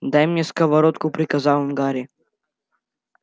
дай мне сковородку приказал он гарри